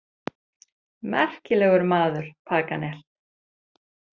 Merkilegur maður, Paganel.